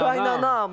Qaynanam.